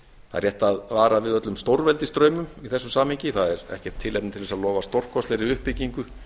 það er rétt að vara við öllum stórveldisdraumum í þessu samhengi það er ekkert tilefni til þess að lofa stórkostlegri uppbyggingu